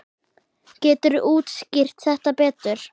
Geturðu útskýrt þetta betur?